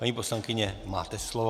Paní poslankyně, máte slovo.